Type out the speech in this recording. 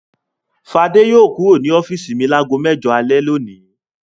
Fadé yóò kúrò ní ọ́fíísì mi lágo mẹ́jọ alẹ́ lónìí.